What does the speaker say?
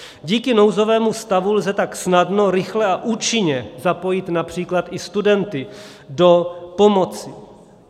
Díky nouzovému stavu lze tak snadno, rychle a účinně zapojit například i studenty do pomoci.